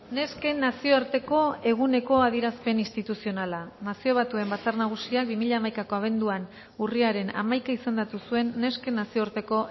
nesken nazioarteko eguneko adierazpen instituzionala nazio batuen batzar nagusiak bi mila hamaikako abenduan urriaren hamaika izendatu zuen nesken nazioarteko